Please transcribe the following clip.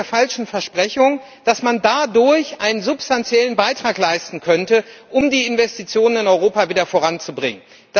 Erstens mit der falschen Versprechung, dass man dadurch einen substanziellen Beitrag leisten könnte, um die Investition in Europa wieder voranzubringen.